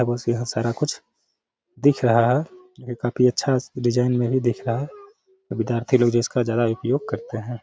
यहाँ सारा कुछ दिख रहा है जो कि काफी अच्छा डिजाइन में भी दिख रहा है। विधयति लोग जिसका ज्यादा उपयोग करते हैं।